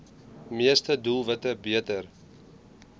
meeste doelwitte beter